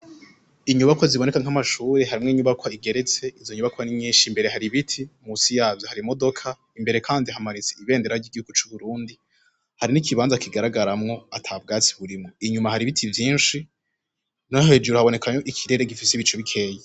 Inyubakwa ziboneka nk'amashure, harimwo inyubakwa igeretse, izo nyubakwa ni nyinshi, imbere hari ibiti, munsi yavyo hari imodoka, imbere Kandi hamanitse ibendera ry'igihugu c'u Burundi, hari n'ikibanza kigaragaramwo ata bwatsi burimwo, inyuma hari ibiti vyinshi no hejuru haboneka ko ikirere gifise ibicu bikeya.